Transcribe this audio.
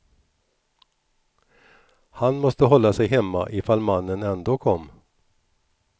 Han måste hålla sig hemma ifall mannen ändå kom.